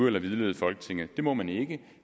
eller vildlede folketinget det må man ikke